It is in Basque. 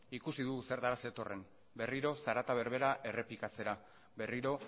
ikusi dugu zertara zetorren berriro zarata berbera errepikatzera berriro